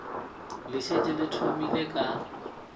le šetše le thomile ka